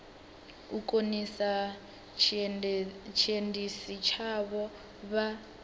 u khonisa tshiendisi tshavho vha